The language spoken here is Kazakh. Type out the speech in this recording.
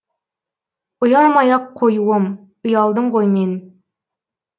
ұялмай ақ қоюым ұялдым ғой мен